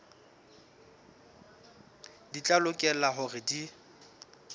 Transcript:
di tla lokela hore di